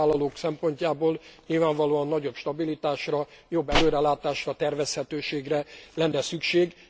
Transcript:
A munkavállalók szempontjából nyilvánvalóan nagyobb stabilitásra, jobb előrelátásra, tervezhetőségre lenne szükség.